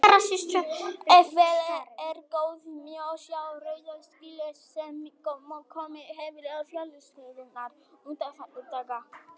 Ef vel er gáð, má sjá rauða slikju sem komið hefur á fjallshlíðarnar undanfarna daga.